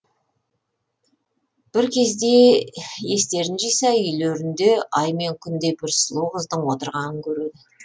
бір кезде естерін жиса үйлерінде ай мен күндей бір сұлу қыздың отырғанын көреді